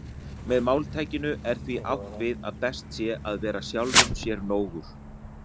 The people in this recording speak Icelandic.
Með máltækinu er því átt við að best sé að vera sjálfum sér nógur.